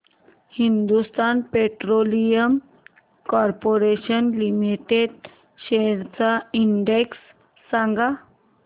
Hindustan Petroleum Corporation Limited shares चा index सांगा